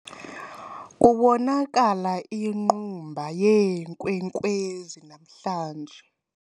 Kubonakala inqumba yeenkwenkwezi namhlanje.